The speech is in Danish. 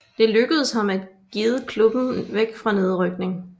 Det lykkedes ham at guide klubben væk fra nedrykning